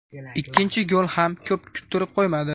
Ikkinchi gol ham ko‘p kuttirib qo‘ymadi.